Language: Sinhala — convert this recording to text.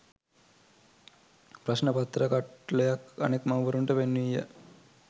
ප්‍රශ්න පත්‍ර කට්ටලයක් අනෙක් මව්වරුන්ට පෙන්වීය.